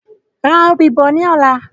Ra òbí bọ̀ ni ọ̀la